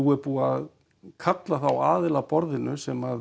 er búið að kalla þá aðila að borðinu sem